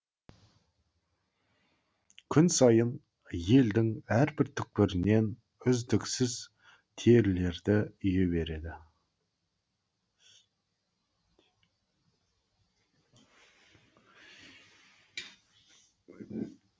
күн сайын елдің әрбір түкпірінен үздіксіз терілерді үйе берді